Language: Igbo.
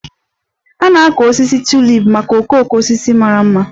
A na-akọ osisi Tulip maka okooko osisi mara mma